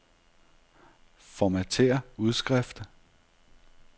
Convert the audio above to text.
Formatér udskrift.